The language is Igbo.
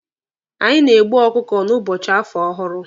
Anyị na-egbu ọkụkụ n'ụbọchị afọ ọhụrụ.